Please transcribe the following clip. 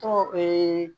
Tɔgɔ ee